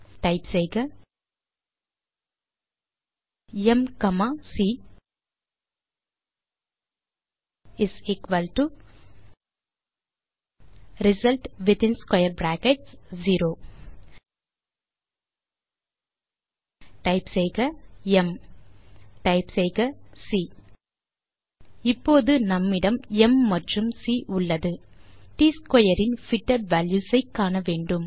type செய்க m comma c result within square brackets 0 m c இப்போது நம்மிடம் m மற்றும் சி உள்ளது ட் ஸ்க்வேர் இன் பிட்டட் வால்யூஸ் ஐ காண வேண்டும்